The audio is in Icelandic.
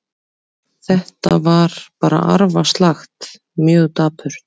Þetta var bara arfaslakt, mjög dapurt.